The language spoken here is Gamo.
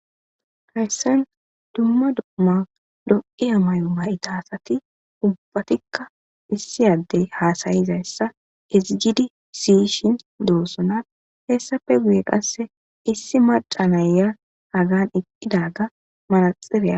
Hayissan dumma dumma lo'iya mayo mayida asati ubbatikka issi adeyi hasayizayissa ezigidd siyishshe dosona hessappe guye qase issi maca na'iya Hagani eqidaga manexiriya